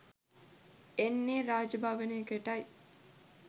එන්නේ රාජ භවනකටයි